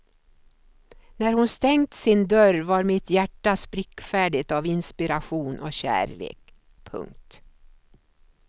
När hon stängt sin dörr var mitt hjärta sprickfärdigt av inspiration och kärlek. punkt